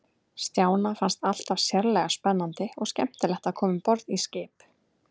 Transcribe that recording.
Stjána fannst alltaf sérlega spennandi og skemmtilegt að koma um borð í skip.